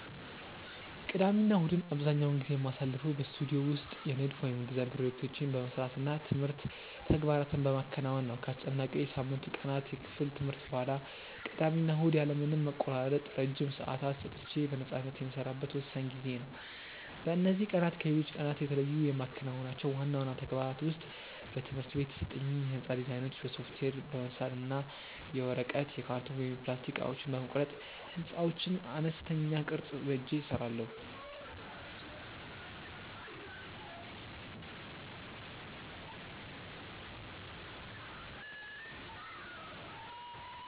ቅዳሜና እሁድን አብዛኛውን ጊዜ የማሳልፈው በስቱዲዮ ውስጥ የንድፍ (Design) ፕሮጀክቶቼን በመስራት እና የትምህርት ተግባራትን በማከናወን ነው። ከአስጨናቂው የሳምንቱ ቀናት የክፍል ትምህርቶች በኋላ፣ ቅዳሜና እሁድ ያለ ምንም መቆራረጥ ረጅም ሰዓታት ሰጥቼ በነፃነት የምሰራበት ወሳኝ ጊዜዬ ነው። በእነዚህ ቀናት ከሌሎች ቀናት የተለዩ የማከናውናቸው ዋና ዋና ተግባራት ውስጥ በትምህርት ቤት የተሰጡኝን የሕንፃ ዲዛይኖች በሶፍትዌር በመሳል እና የወረቀት፣ የካርቶን ወይም የፕላስቲክ እቃዎችን በመቁረጥ የሕንፃዎችን አነስተኛ ቅርፅ በእጄ እሰራለሁ።